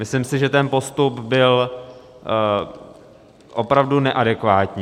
Myslím si, že ten postup byl opravdu neadekvátní.